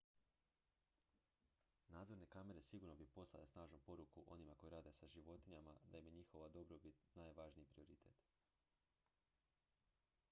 """nadzorne kamere sigurno bi poslale snažnu poruku onima koji rade sa životinjama da im je njihova dobrobit najvažniji prioritet.""